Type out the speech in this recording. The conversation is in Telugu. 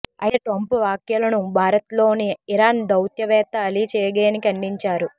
అయితే ట్రంప్ వ్యాఖ్యలను భారత్లోని ఇరాన్ దౌత్యవేత్త అలీ చేగేని ఖండించారు